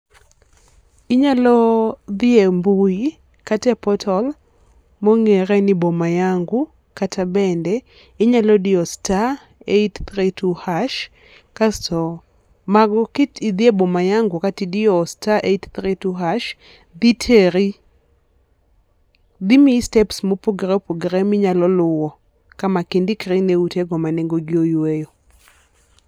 Inyalo dhi e mbui kata e portal, ma ong'ere ni boma yangu kata bende inyalo diyo star eight three twoo hash kasto ma go ki idhi e boma yangu kata idiyo star eight three two hash dhi teri ,dhi miyi steps mo opogore opogore ka ma ti indikri ne ute go ma nengo gi oyweyo.